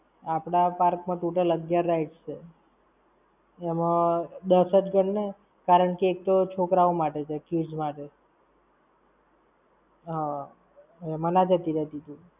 આપડા park માં total અગિયાર rides છે. એમાં દસ જ ગણને, કારણકે એક તો છોકરા ઓ માટે છે, kids માટે. હમ, એમાં ના જતી રેતી તું!